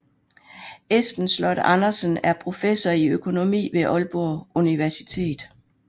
Esben Sloth Andersen er professor i økonomi ved Aalborg Universitet